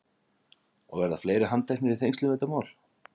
Og verða fleiri handteknir í tengslum við þetta mál?